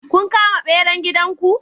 Kun kama beran gidan ku?